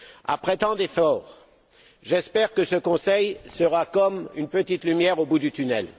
Après tant d'efforts, j'espère que ce Conseil sera comme une petite lumière au bout du tunnel.